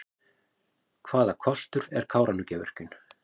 Hvaða kostur er Kárahnjúkavirkjun?